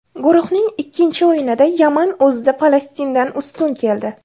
Guruhning ikkinchi o‘yinida Yaman o‘zida Falastindan ustun keldi.